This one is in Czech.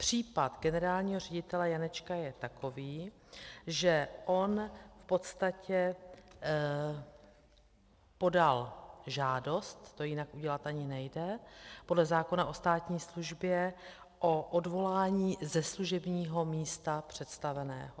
Případ generálního ředitele Janečka je takový, že on v podstatě podal žádost, to jinak udělat ani nejde, podle zákona o státní službě o odvolání ze služebního místa představeného.